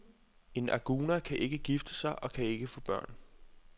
En aguna kan ikke gifte sig og kan ikke få børn.